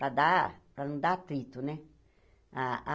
para dar, para não dar atrito, né? ah ah